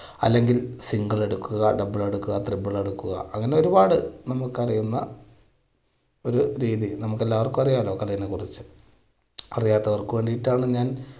അല്ലെങ്കിൽ single എടുക്കുക double എടുക്കുക triple എടുക്കുക അങ്ങനെ ഒരുപാട് നമുക്ക് അറിയുന്ന ഒരു game ൽ നമ്മൾക്ക് എല്ലാവർക്കും അറിയാമല്ലോ അതിനെക്കുറിച്ച്, അറിയാത്തവർക്ക് വേണ്ടിയിട്ടാണ് ഞാൻ